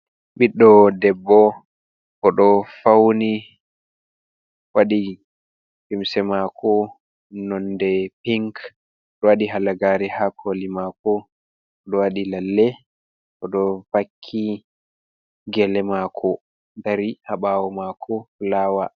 Ɓiɗɗo debbo oɗo fauni, waɗi himse mako nonde pink, oɗo waɗi halagare ha koli mako, oɗo wadi lalle oɗo vakki gele mako dari habawo mako fulawa.